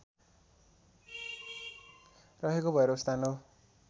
रहेको भैरवस्थान हो